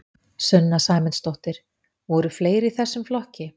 Sunna Sæmundsdóttir: Voru fleiri í þessum flokki?